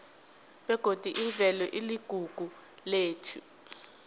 begodi imvelo iligugu lethu